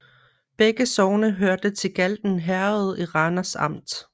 Begge sogne hørte til Galten Herred i Randers Amt